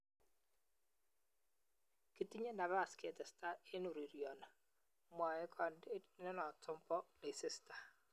"Kitinye nabas ketestai eng ureryoni", mwae kanetindenoto bo Leicester